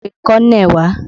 Lọ pe kọ́nẹ̀ wá!